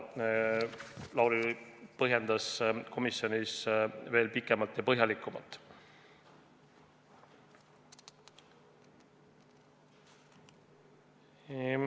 Lauri põhjendas seda komisjonis pikalt ja põhjalikult.